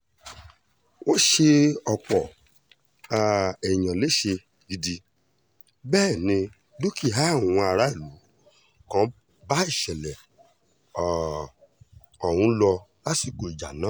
wọ́n ṣe ọ̀pọ̀ um èèyàn léṣe gidi bẹ́ẹ̀ ni dúkìá àwọn aráàlú kan bá ìṣẹ̀lẹ̀ um ọ̀hún lọ lásìkò ìjà náà